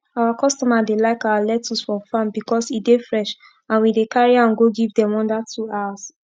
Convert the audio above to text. our customer dey like our lecttuce from farm becos e dey fresh and we dey carry am go give dem under two hours